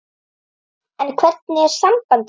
En hvernig er samband þeirra?